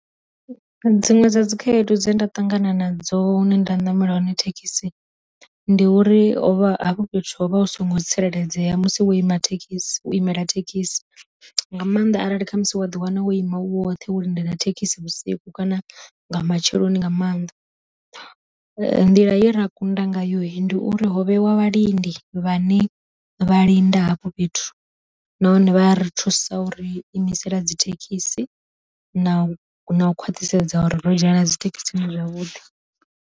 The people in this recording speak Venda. Dziṅwe dza dzi khaedu dze nda ṱangana na dzo hune nda namela hone thekhisi, ndi uri hovha hafho fhethu ho vha hu songo tsireledzea musi wo ima thekhisi wo imela thekhisi nga maanḓa arali kha musi wa ḓi wana wo ima u woṱhe wo lindela thekhisi vhusiku kana nga matsheloni nga maanḓa. Nḓila ye ra kunda ngayo ndi uri ho vhe wa vha lindi vhane vha linda hafho fhethu nahone vha ri thusa uri imisela dzi thekhisi na na u khwaṱhisedza uri ro dzhena dzi thekhisini zwavhuḓi.